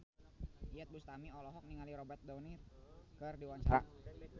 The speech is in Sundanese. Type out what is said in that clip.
Iyeth Bustami olohok ningali Robert Downey keur diwawancara